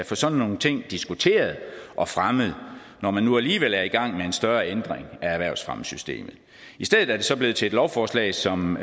få sådan nogle ting diskuteret og fremmet når man nu alligevel er i gang med en større ændring af erhvervsfremmesystemet i stedet er det så blevet til et lovforslag som